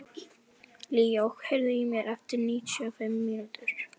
Leo, heyrðu í mér eftir níutíu og fimm mínútur.